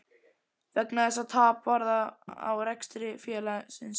vegna þess að tap varð á rekstri félagsins.